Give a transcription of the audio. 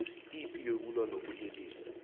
ipi yokulwa nobulelesi